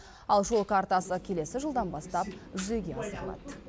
ал жол картасы келесі жылдан бастап жүзеге асырылады